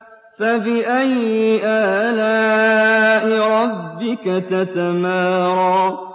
فَبِأَيِّ آلَاءِ رَبِّكَ تَتَمَارَىٰ